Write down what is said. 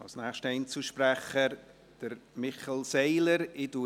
Als nächster Einzelsprecher hat Michel Seiler das Wort.